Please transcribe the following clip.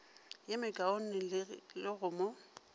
ye mekaone le go mo